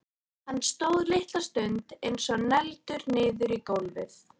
Hann stóð litla stund eins og negldur niður í gólfið.